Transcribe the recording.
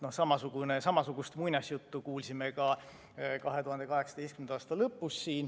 Samasugust muinasjuttu kuulsime siin ka 2018. aasta lõpus.